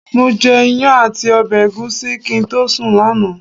Mo jẹ iyán àti ọbẹ̀ ẹ̀gúsí kí n tó sùn lánàá.